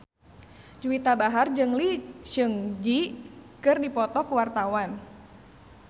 Juwita Bahar jeung Lee Seung Gi keur dipoto ku wartawan